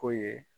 Ko ye